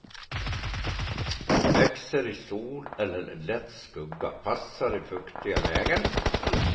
Växer i sol eller lätt skugga, passar i fuktiga lägen.